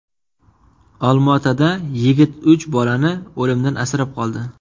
Olmaotada yigit uch bolani o‘limdan asrab qoldi.